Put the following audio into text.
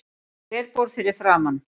Glerborð fyrir framan.